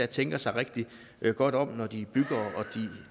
tænker sig rigtig godt om når de bygger og